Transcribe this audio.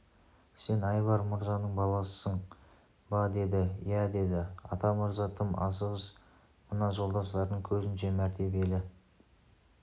сен айбар мырзаның баласысың ба деді иә иә деді атамырза тым асығыс мына жолдастарының көзінше мәртебелі